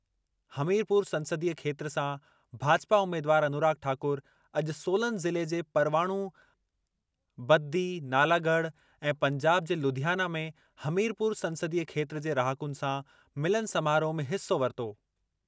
हमीरपुर संसदीय खेत्र सां भाजपा उमेदवारु अनुराग ठाकुर अॼु सोलन ज़िले जे परवाणू, बद्दी, नालागढ़ ऐं पंजाब जे लुधियाना में हमीरपुर संसदीय खेत्र जे रहाकुनि सां मिलन समारोह में हिसो वरितो।